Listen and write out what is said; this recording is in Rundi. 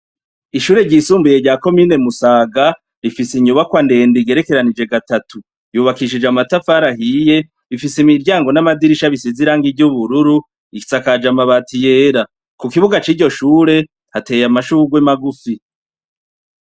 Ishure ryisumbuye rya komine Musaga , rifise inyubakwa ndenede igerekeranije gatatu, yubakishije amatafari ahiye, rifise imiryango n'amadirisha bisize irangi ry'ubururu, risakaje amabati yera. Kukibuga ciryo shure , hateye amashurwe magufi.